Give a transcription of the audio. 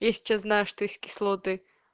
я сейчас знаю что есть кислоты